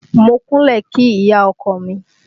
Mo kúnlẹ̀ kí ìyá ọkọ mi